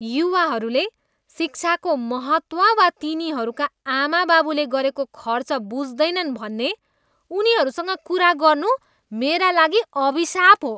युवाहरूले शिक्षाको महत्त्व वा तिनीहरूका आमाबाबुले गरेको खर्च बुझ्दैनन् भन्ने उनीहरूसँग कुरा गर्नु मेरा लागि अभिशाप हो।